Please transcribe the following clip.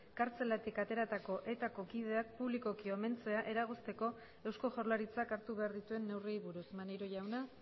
kartzelatik ateratako etako kideak publikoki omentzea eragozteko eusko jaurlaritzak hartu behar dituen neurriei buruz maneiro jauna